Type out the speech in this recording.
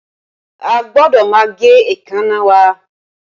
A gbọ́dọ̀ máa gé èékánná wa